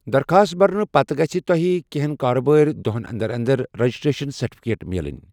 درخاست برنہٕ پتہٕ گژِھہ تۄہہِ کینٛہن کارٕبٲرۍ دۄہن انٛدر انٛدر ریٚجِسٹرٛیشَن سٔرٹِفِکیٹ میلٕنۍ۔